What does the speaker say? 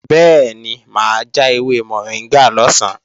Bẹ́ẹ̀ni mà á ja ewé mọ̀ríngà lọ̀sán